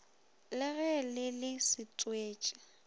le ge le le setswetši